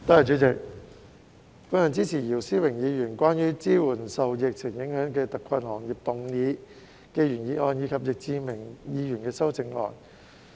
主席，我支持姚思榮議員關於"支援受疫情影響的特困行業"的原議案，以及易志明議員的修正案。